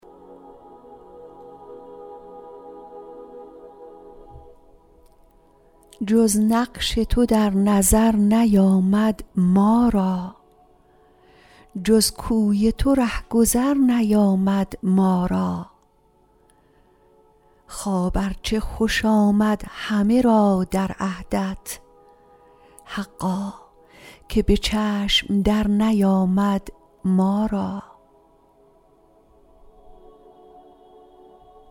جز نقش تو در نظر نیامد ما را جز کوی تو رهگذر نیامد ما را خواب ار چه خوش آمد همه را در عهدت حقا که به چشم در نیامد ما را